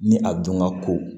Ni a dun ka ko